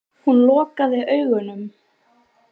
Hún lokaði augunum.